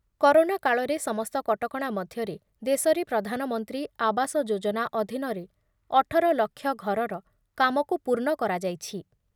Corona କାଳରେ ସମସ୍ତ କଟକଣା ମଧ୍ୟରେ ଦେଶରେ ପ୍ରଧାନମନ୍ତ୍ରୀ ଆବାସ ଯୋଜନା ଅଧୀନରେ ଅଠର ଲକ୍ଷ ଘରର କାମକୁ ପୂର୍ଣ୍ଣ କରାଯାଇଛି ।